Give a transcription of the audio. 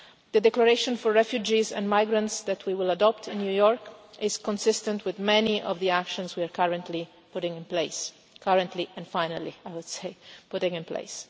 The declaration for refugees and migrants that we will adopt in New York is consistent with many of the actions we are currently putting in place currently and finally I would say, putting in place.